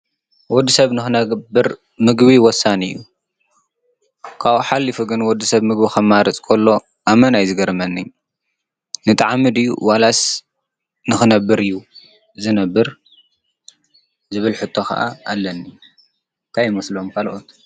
ወዲ ሰብ ንኽነብር ምግቢ ወሳኒ እዩ፡፡ ካብኡ ሓሊፉ ግን ወዲ ሰብ ምግቢ ኸማርፅ ኮሎ ኣመና እዩ ዝገርመኒ፡፡ ንጠዓሚ ድዩ ዋላስ ንኽነብር እዩ ዝነብር? ዝብል ሕቶ ኸዓ ኣለኒ ታይ ይመስሎም ካልኦት?